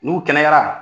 N'u kɛnɛyara